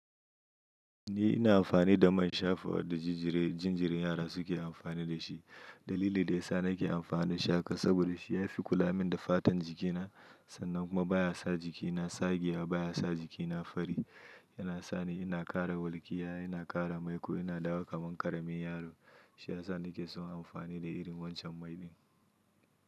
Ni ina amfani da man shafawa da jinjirin yara suke amfani da shi. Dalili da ya sa nake amfani da shi haka saboda shi ya fi kula min da fatan jikina, sannan kuma baya sa jiki na tsagewa, baya sa jikina fari. Yana sa ni ina ƙara walƙiya, ina ƙara maiku, ina dawo kaman ƙaramin yaro. Shi ya sa nake son amfani da irin wancan mai din.